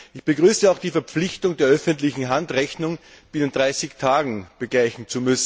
Ich begrüße auch die Verpflichtung der öffentlichen Hand, Rechnungen binnen 30 Tagen zu begleichen.